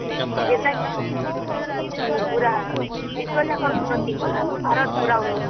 ପୁରା ବିଶ୍ୱଯାକର ଉନ୍ନତି ପୁରା ଭାରତ ଉନ୍ନତି କଲାଣି ନା